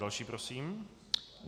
Další prosím.